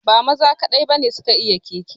Ba maza kaɗai ba ne su ka iya keke